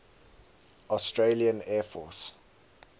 australian air force